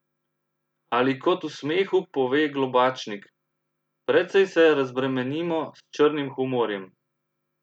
Ali kot v smehu pove Globačnik: "Precej se razbremenimo s črnim humorjem.